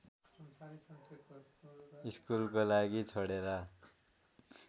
स्कुलको लागि छोडेर